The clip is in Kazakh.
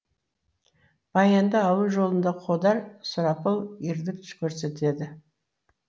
баянды алу жолында қодар сұрапыл ерлік көрсетеді